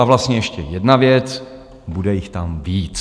A vlastně ještě jedna věc: bude jich tam víc.